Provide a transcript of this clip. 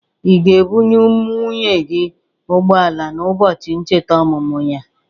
Ị ga-ebụnye nwunye gị ụgbọ ala na ụbọchị ncheta ọmụmụ ya?